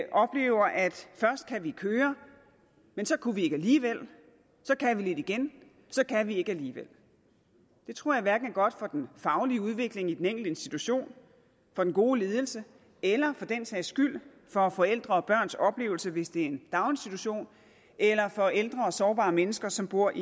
først kan vi køre men så kunne vi ikke alligevel så kan vi lidt igen så kan vi ikke alligevel det tror jeg hverken er godt for den faglige udvikling i den enkelte institution for den gode ledelse eller for den sags skyld for forældre og børns oplevelse hvis det er en daginstitution eller for ældre og sårbare mennesker som bor